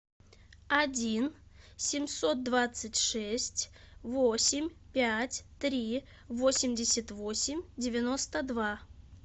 один семьсот двадцать шесть восемь пять три восемьдесят восемь девяносто два